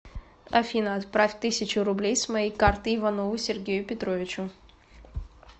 афина отправь тысячу рублей с моей карты иванову сергею петровичу